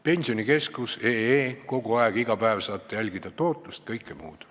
Pensionikeskus.ee, sealt saate kogu aeg, iga päev jälgida tootlust ja kõike muud.